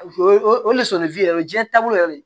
O o leson yɛrɛ o diɲɛ taabolo yɛrɛ de